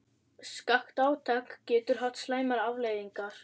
Skakkt átak getur haft slæmar afleiðingar.